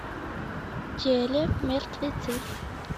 телемертвецы